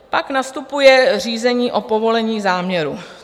Pak nastupuje řízení o povolení záměru.